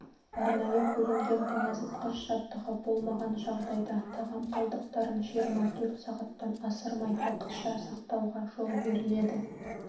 арнайы бөлінген тоңазытқыш жабдығы болмаған жағдайда тағам қалдықтарын жиырма төрт сағаттан асырмай уақытша сақтауға жол беріледі